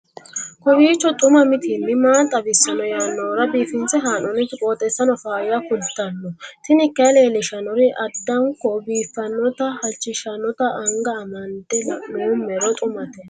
kowiicho xuma mtini maa xawissanno yaannohura biifinse haa'noonniti qooxeessano faayya kultanno tini kayi leellishshannori addanko biiffannote halchishshannote anga amande la'noommero xumate